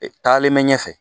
Taalen mɛ ɲɛfɛ